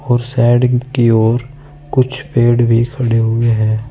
और साइड कि ओर कुछ पेड़ भी खड़े हुए हैं।